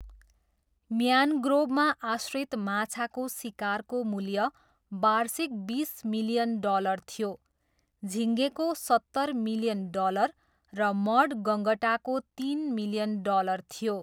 म्यान्ग्रोभमा आश्रित माछाको सिकारको मूल्य वार्षिक बिस मिलियन डलर थियो, झिङ्गेको सत्तर मिलियन डलर र मड गँगटाको तिन मिलियन डलर थियो।